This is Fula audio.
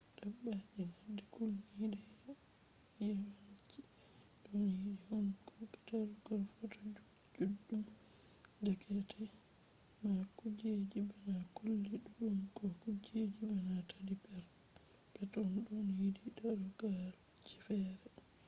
dabbaji ladde kulniɗe yawanci ɗon yiɗi hunduko darugal foto juɗum deyeke ma kujeji bana colli ɗuɗɗum ko kujeji bana taddi perpeton ɗon yiɗi darugalji feere